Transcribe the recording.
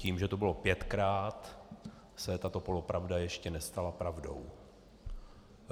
Tím, že to bylo pětkrát, se tato polopravda ještě nestala pravdou.